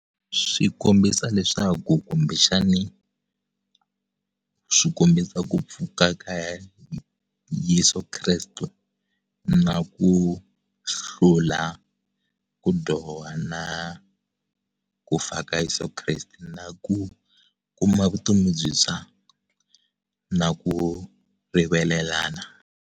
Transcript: Swi kombisa leswaku kumbexani swikombisa ku pfuka ka Yeso Kreste na ku hlula ku dyoha na ku fa ka Yeso Kreste na ku kuma vutomi byintshwa na ku rivalelana.